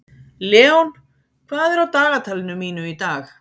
Leon, hvað er á dagatalinu mínu í dag?